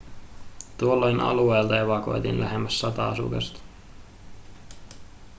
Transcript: tuolloin alueelta evakuoitiin lähemmäs sata asukasta